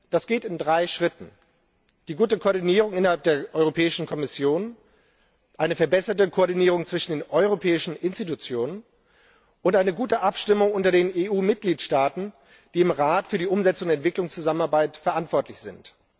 Das geht in drei Schritten der guten Koordinierung innerhalb der Europäischen Kommission, einer verbesserten Koordinierung zwischen den Europäischen Organen und einer guten Abstimmung unter den EU Mitgliedstaaten, die im Rat für die Umsetzung der Entwicklungszusammenarbeit verantwortlich sind.